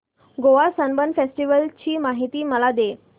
Goa Sunburn festival ची माहिती मला दे